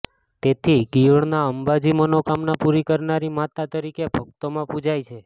તેથી ગિયોડના અંબાજી મનોકામના પૂરી કરનારી માતા તરીકે ભક્તોમાં પૂજાય છે